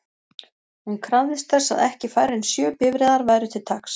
Hún krafðist þess að ekki færri en sjö bifreiðar væru til taks.